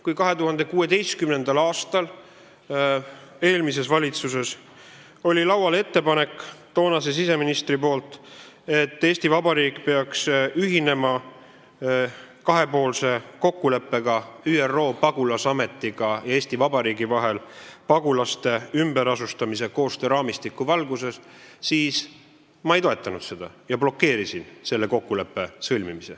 Kui 2016. aastal oli eelmises valitsuses laual ettepanek, toonase siseministri esitatult, et Eesti Vabariik peaks ühinema kahepoolse kokkuleppega ÜRO Pagulasameti ja Eesti Vabariigi vahel pagulaste ümberasustamise koostööraamistiku valguses, siis ma ei toetanud seda ja blokeerisin selle kokkuleppe sõlmimise.